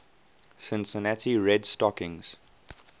cincinnati red stockings